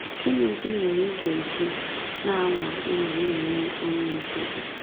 Gịnịzi mere ị ga-eji na-anwa ịnọ na-enwe ọnyị nzuzo?